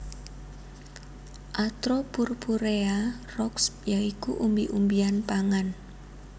atropurpurea Roxb ya iku umbi umbian pangan